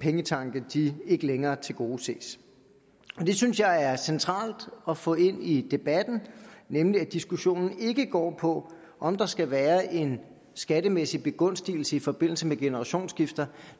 pengetanke ikke længere tilgodeses det synes jeg er centralt at få ind i debatten nemlig at diskussionen ikke går på om der skal være en skattemæssig begunstigelse i forbindelse med generationsskifter